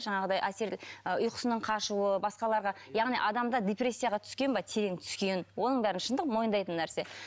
жаңағыдай әсер ұйқысының қашуы басқаларға яғни адамда депрессияға түскен ба терең түскен оның бәрі шындық мойындайтын нәрсе